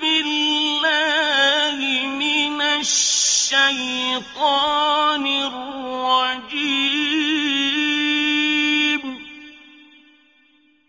بِاللَّهِ مِنَ الشَّيْطَانِ الرَّجِيمِ